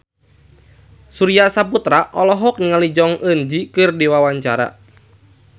Surya Saputra olohok ningali Jong Eun Ji keur diwawancara